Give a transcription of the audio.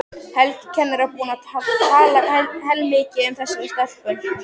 Helgi kennari var búinn að tala heilmikið um þessa stelpu.